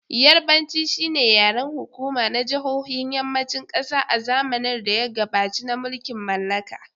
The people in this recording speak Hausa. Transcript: Yarbanci shi ne yaren hukuma na jihohin Yammacin kasa a zamanin da ya gabaci na mulkin mallaka.